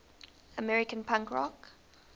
american punk rock